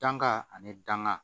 Danga ani danka